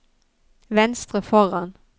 venstre foran